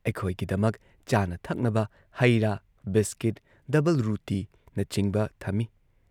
ꯑꯩꯈꯣꯏꯒꯤꯗꯃꯛ ꯆꯥꯅ ꯊꯛꯅꯕ ꯍꯩ ꯔꯥ ꯕꯤꯁꯀꯤꯠ ꯗꯕꯜꯔꯨꯇꯤꯅꯆꯤꯡꯕ ꯊꯝꯢ꯫